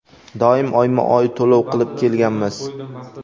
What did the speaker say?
Doim oyma-oy to‘lov qilib kelganmiz.